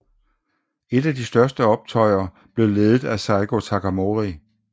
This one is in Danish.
Et af de største optøjer blev ledet af Saigō Takamori